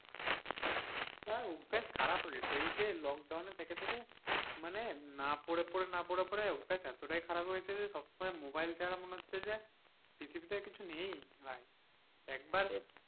আর অভ্যাস খারাপ হয়ে গেছে এই লকডাউনে থেকে থেকে মানে না পড়ে পড়ে না পড়ে পড়ে অভ্যাস এতটাই খারাপ হয়ে গেছে যে সবসময় মোবাইল ছাড়া মনে হচ্ছে যে পৃথিবীতে কিছু নেই ভাই।